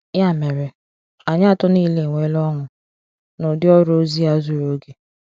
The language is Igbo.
Ya mere, anyị atọ niile enweela ọṅụ n'ụdị ọrụ ozi a zuru oge.